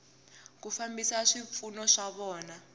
ku fambisa swipfuno swa vona